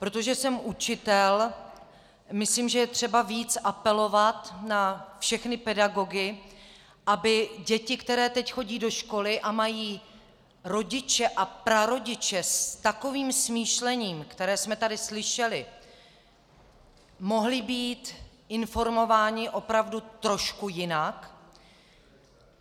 Protože jsem učitel, myslím, že je třeba víc apelovat na všechny pedagogy, aby děti, které teď chodí do školy a mají rodiče a prarodiče s takovým smýšlením, které jsme tady slyšeli, mohly být informovány opravdu trošku jinak.